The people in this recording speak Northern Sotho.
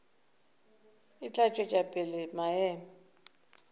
e tla tšwetša pele maemo